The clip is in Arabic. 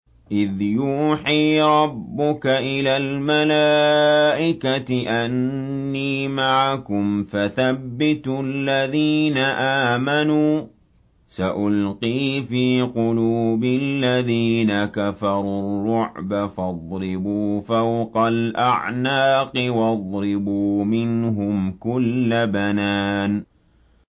إِذْ يُوحِي رَبُّكَ إِلَى الْمَلَائِكَةِ أَنِّي مَعَكُمْ فَثَبِّتُوا الَّذِينَ آمَنُوا ۚ سَأُلْقِي فِي قُلُوبِ الَّذِينَ كَفَرُوا الرُّعْبَ فَاضْرِبُوا فَوْقَ الْأَعْنَاقِ وَاضْرِبُوا مِنْهُمْ كُلَّ بَنَانٍ